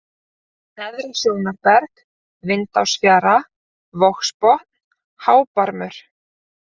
Neðra-Sjónarberg, Vindásfjara, Vogsbotn, Hábarmur